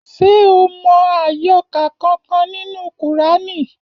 Ṣé o mọ àyọkà kankan nínú kùránì?